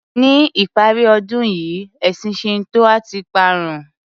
Ní ìparí ọdún yìí ẹ̀sìn Shinto a ti parun.